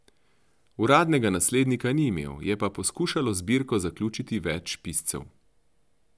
Uradnega naslednika ni imel, je pa poskušalo zbirko zaključiti več piscev.